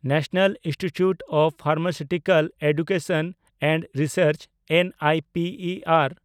national institute of pharmaceutical education and research (ᱮᱱᱟᱭᱯᱤᱤᱟᱨ)